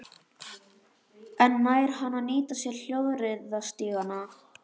En nær hann að nýta sér hjólreiðastígana?